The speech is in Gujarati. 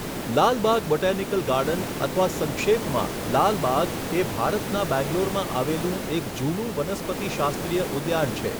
લાલબાગ બોટેનિકલ ગાર્ડન અથવા સંક્ષેપમાં લાલબાગ એ ભારતના બેંગ્લોરમાં આવેલું એક જૂનું વનસ્પતિ શાસ્ત્રીય ઉદ્યાન છે.